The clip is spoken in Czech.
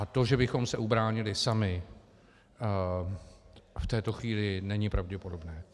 A to, že bychom se ubránili sami, v této chvíli není pravděpodobné.